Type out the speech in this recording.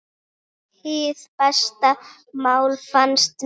Er ekkert snobbað fyrir þér?